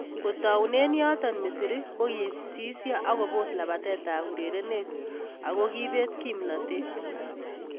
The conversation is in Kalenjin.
Kotaune yoto Misri kokisisio ak kopos lapatet ab urerenet ako kipet kimnatet.